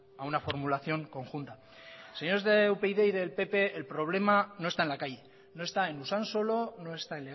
a una formulación conjunta señores de upyd y del pp el problema no está en la calle no está en usansolo no está